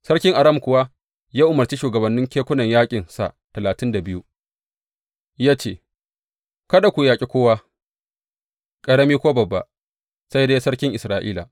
Sarkin Aram kuwa ya umarci shugabanni kekunan yaƙinsa talatin da biyu, ya ce, Kada ku yaƙe kowa, ƙarami ko babba, sai dai sarkin Isra’ila.